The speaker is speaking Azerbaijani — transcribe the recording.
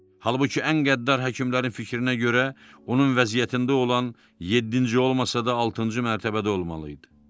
Halbuki ən qəddar həkimlərin fikrinə görə onun vəziyyətində olan yeddinci olmasa da altıncı mərtəbədə olmalı idi.